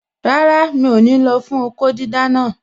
Rárá, mi ò ní lọ fún okó dídá naa